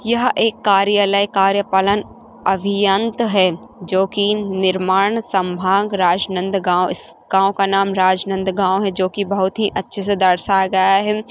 यह एक कार्यालय कार्यपालन अभियंत है जो की निर्माण संभान राजनांदगांव गाँव का नाम राजनांदगांव है जो की बहुत ही अच्छे से दर्शाया गया है।